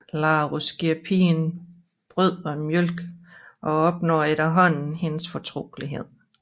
Larus giver pigen brød og mælk og opnår efterhånden hendes fortrolighed